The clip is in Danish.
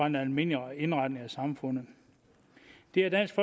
en almindelig indretning af samfundet det er dansk